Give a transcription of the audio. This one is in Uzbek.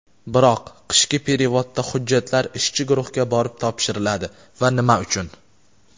Biroq qishki perevodda hujjatlar ishchi guruhga borib topshiriladi va nima uchun?.